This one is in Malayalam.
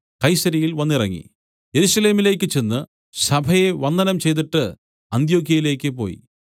കൈസര്യയിൽ വന്നിറങ്ങി യെരൂശലേമിലേക്കു ചെന്ന് സഭയെ വന്ദനം ചെയ്തിട്ട് അന്ത്യൊക്യയിലേക്ക് പോയി